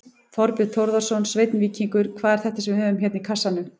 Þorbjörn Þórðarson: Sveinn Víkingur, hvað er þetta sem við höfum hérna í kassanum?